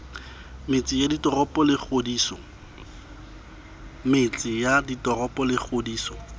metse ya ditoropo le kgodiso